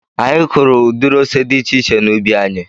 Anyị kụụrụ udiri ose dị iche iche n'ubi anyị.